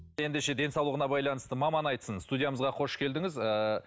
ендеше денсаулығына байланысты маман айтсын студиямызға қош келдіңіз ыыы